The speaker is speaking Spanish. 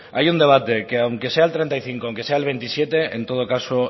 hay un debate que aunque sea el treinta y cinco aunque sea el veintisiete en todo caso